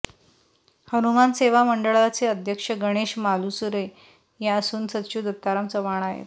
हनुमान सेवा मंडळाचे अध्यक्ष गणेश मालुसरे असून सचिव दत्ताराम चव्हाण आहेत